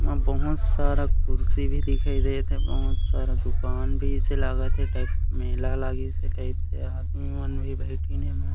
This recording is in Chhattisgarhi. ओमा बहुत सारा कुर्सी भी दिखाई देत हे बहुत सारा दूकान भी ऐसे लागत टाइप मेला लगिसे टाइप से आदमी मन भी बैठन हे।